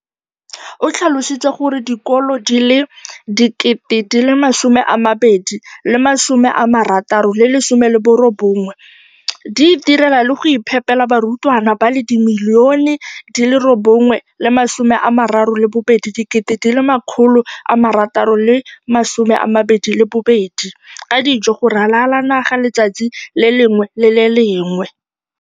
o tlhalositse gore dikolo di le 20 619 di itirela le go iphepela barutwana ba le 9 032 622 ka dijo go ralala naga letsatsi le lengwe le le lengwe.